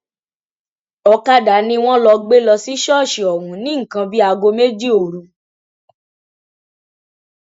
ọkadà ni wọn lọ gbé lọ sí ṣọọṣì ọhún ní nǹkan bíi aago méjì òru